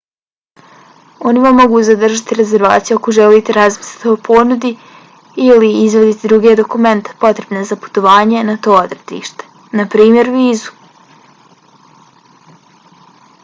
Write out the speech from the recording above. oni vam mogu zadržati rezervaciju ako želite razmisliti o ponudi ili izvaditi druge dokumente potrebne za putovanje na to odredište npr. vizu